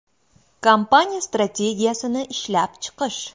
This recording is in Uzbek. Kompaniya strategiyasini ishlab chiqish.